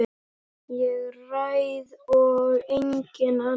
Ég ræð og enginn annar.